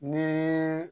Ni